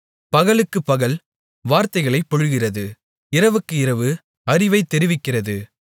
பகலுக்குப் பகல் வார்த்தைகளைப் பொழிகிறது இரவுக்கு இரவு அறிவைத் தெரிவிக்கிறது